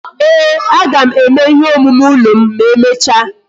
Ee, aga m eme ihe omume ụlọ m na-emecha